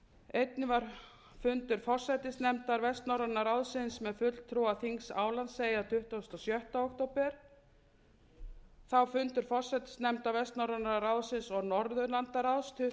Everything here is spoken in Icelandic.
einnig var fundur forsætisnefndar vestnorræna ráðsins með fulltrúa þings álandseyja tuttugasta og sjötta október þá fundur forsætisnefnda vestnorræna ráðsins og norðurlandaráðs tuttugasta og sjötta október